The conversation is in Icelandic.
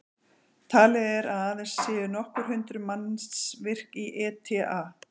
Talið er að aðeins séu nokkur hundruð manns virk í ETA.